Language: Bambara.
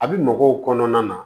A bi mɔgɔw kɔnɔna na